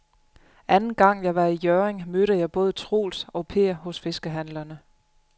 Anden gang jeg var i Hjørring, mødte jeg både Troels og Per hos fiskehandlerne.